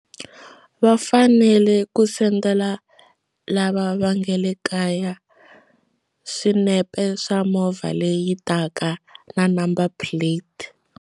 Va fanele ku sendela lava va nga le kaya swinepe swa movha leyi taka na number plate.